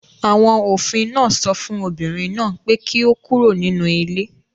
Àwọn òfin náà sọ fún obìnrin náà pé kí ó kúrò nínú ilé